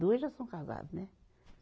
Dois já são casado, né?